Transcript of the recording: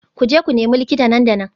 Ku je ku nemi likita nan da nan